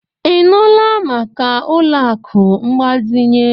Ị nụla maka ụlọ akụ mgbazinye?